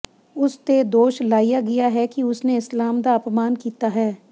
ਉਸ ਤੇ ਦੋਸ਼ ਲਾਇਆ ਗਿਆ ਕਿ ਉਸਨੇ ਇਸਲਾਮ ਦਾ ਅਪਮਾਨ ਕੀਤਾ ਹੈ